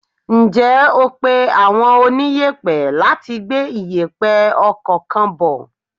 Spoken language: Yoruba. Ǹjẹ́ o pé àwọn oniyepe láti gbé iyepe ọkọ̀ kan bò?